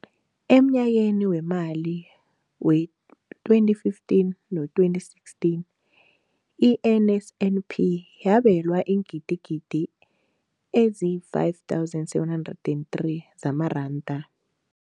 Emnyakeni weemali we-2015 no-2016, i-NSNP yabelwa iingidigidi ezi-5 703 zamaranda.